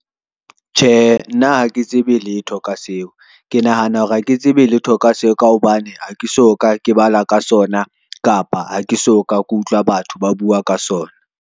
Tjhe, nna ha ke tsebe letho ka seo, ke nahana hore ha ke tsebe letho ka se ka hobane ha ke so ka ke bala ka sona, kapa ha ke so ka ke utlwa batho ba bua ka sona.